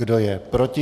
Kdo je proti?